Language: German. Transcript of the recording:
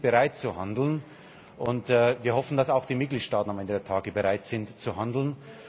Wir sind bereit, zu handeln, und wir hoffen, dass auch die Mitgliedstaaten am Ende der Tage bereit sind, zu handeln.